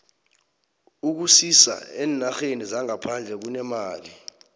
ukusisa eenarheni zangaphandle kunemali